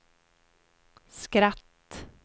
skratt